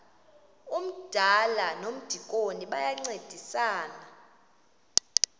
umdala nomdikoni bayancedisana